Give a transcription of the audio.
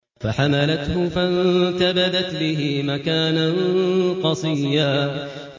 ۞ فَحَمَلَتْهُ فَانتَبَذَتْ بِهِ مَكَانًا قَصِيًّا